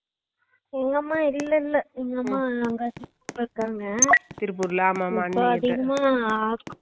சும்மாவே சொல்ல வேண்டா ஆமா company ல எல்லாம் வேலை செய்றவாங்கலுக்கு over heat அ இருக்கும் கண்டிப்பா